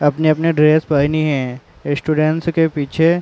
अपनी अपनी ड्रेस पहनी है। स्टूडेंट्स के पीछे --